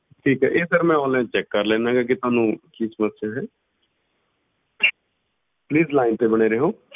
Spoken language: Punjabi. ਠੀਕ ਹੈ ਇਹ sir ਮੈ online check ਕਰ ਲੈਂਦਾ ਹਾਂ ਕਿ ਤੁਹਾਨੂੰ ਕੀ ਸਮੱਸਿਆ ਹੈ please line ਤੇ ਬਣੇ ਰਹਿਓ।